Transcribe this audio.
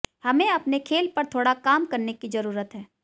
हमें अपने खेल पर थोड़ा काम करने की जरूरत है